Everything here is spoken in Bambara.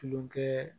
Tulonkɛ